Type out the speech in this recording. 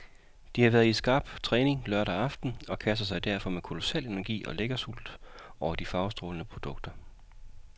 De har været i skarp træning lørdag aften og kaster sig derfor med kolossal energi og lækkersult over de farvestrålende produkter.